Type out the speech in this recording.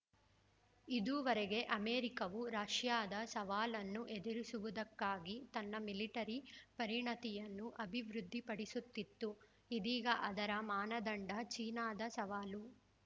ಇದುವರೆಗೆ ಅಮೆರಿಕವು ರಷ್ಯಾದ ಸವಾಲನ್ನು ಎದುರಿಸುವುದಕ್ಕಾಗಿ ತನ್ನ ಮಿಲಿಟರಿ ಪರಿಣತಿಯನ್ನು ಅಭಿವೃದ್ಧಿಪಡಿಸುತ್ತಿತ್ತು ಇದೀಗ ಅದರ ಮಾನದಂಡ ಚೀನಾದ ಸವಾಲು